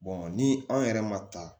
ni anw yɛrɛ ma ta